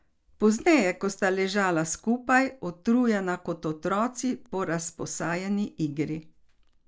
Pozneje, ko sta ležala skupaj, utrujena kot otroci po razposajeni igri.